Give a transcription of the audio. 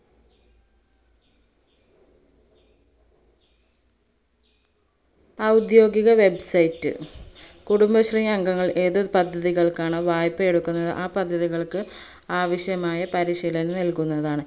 ഔദ്യോഗിക website കുടുംബശ്രീ അംഗങ്ങൾ ഏതൊരു പദ്ധതികൾക്കാണോ വായ്‌പ്പ എടുക്കുന്നത് ആ പദ്ധതികൾക്ക് ആവശ്യമായ പരിശീലനം നൽകുന്നതാണ്